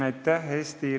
Aitäh!